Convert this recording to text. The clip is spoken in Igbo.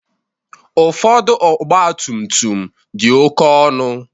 Ụfọdụ ọgba tum tum dị oké ọnụ.